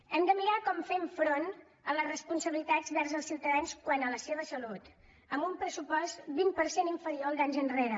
hem de mirar com fem front a les responsabilitats vers els ciutadans quant a la seva salut amb un pressupost vint per cent inferior al d’anys enrere